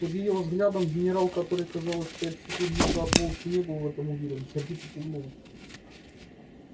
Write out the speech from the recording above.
под её взглядом генерал который казалось пять секунд назад вовсе не был в этом уверен сердито кивнул